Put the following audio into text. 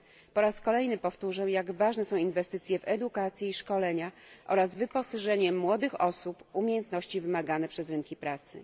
Po raz kolejny powtórzę, jak ważne są inwestycje w edukację i szkolenia oraz wyposażenie młodych osób w umiejętności wymagane przez rynki pracy.